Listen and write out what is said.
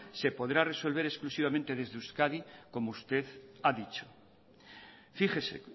se podrá resolver exclusivamente desde euskadi como usted ha dicho fíjese